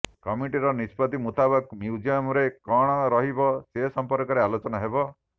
କମିଟିର ନିଷ୍ପତି ମୁତାବକ ମ୍ୟୁଜିୟମ୍ ରେ କଣ ରହିବ ସେ ସମ୍ପର୍କରେ ଆଲୋଚନା ହେବ